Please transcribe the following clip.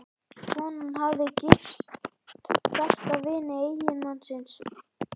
Konan hafði gifst besta vini eiginmannsins.